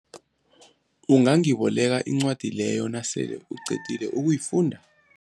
Ungangiboleka incwadi leyo nasele uyiqedile ukuyifunda?